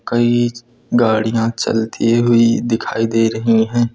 कई गाड़ियां चलती हुई दिखाई दे रही है।